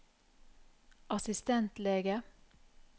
assistentlege